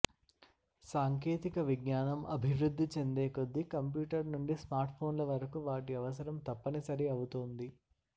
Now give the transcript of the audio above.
సాంకేతిక విజ్ఞానం అభివృద్ధి చెందేకొద్దీ కంప్యూటర్ నుండి స్మార్ట్ఫోన్ల వరకు వాటి అవసరం తప్పనిసరి అవుతోంది